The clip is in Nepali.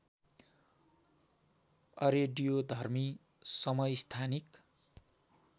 अरेडियोधर्मी समस्थानिक